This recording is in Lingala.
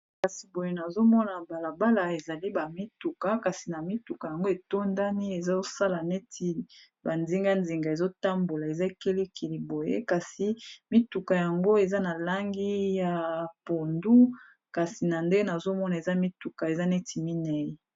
kasi boye nazomona balabala ezali bamituka kasi na mituka yango etondani ezosala neti bandingandinga ezotambola eza kelikili boye kasi mituka yango eza na langi ya pondu kasi na nde nazomona eza mituka eza neti minei